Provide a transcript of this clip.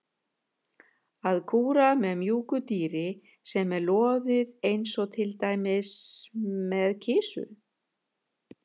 Að kúra með mjúku dýri sem er loðið eins og til dæmis með kisu.